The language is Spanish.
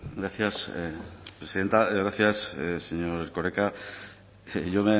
gracias presidenta gracias señor erkoreka yo